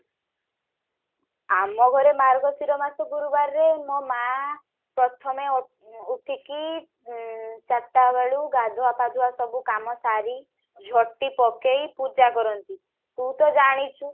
ଆମ ଘରେ ମାର୍ଗଶିର ମାସ ଗୁରୁବାରରେ ମୋ ମା ପ୍ରଥମେ ଉ ଉଠିକି ଉଁ ଚାରିଟା ବେଳୁ ଗାଧୁଆ ପାଧୁଆ ସବୁ କାମ ସାରି ଝୋଟି ପକେଇ ପୂଜା କରନ୍ତି ତୁ ତ ଜାଣିଛୁ